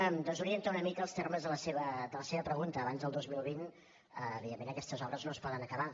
em desorienten una mica els termes de la seva pregunta abans del dos mil vint evidentment aquestes obres no es poden acabar